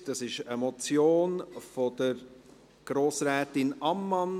Es handelt sich um eine Motion von Grossrätin Ammann.